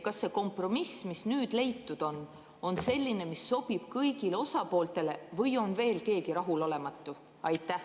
Kas see kompromiss, mis nüüd leitud on, on selline, mis sobib kõigile osapooltele, või on veel keegi rahulolematu?